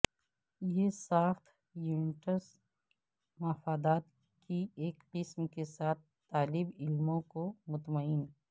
یہ ساخت یونٹس مفادات کی ایک قسم کے ساتھ طالب علموں کو مطمئن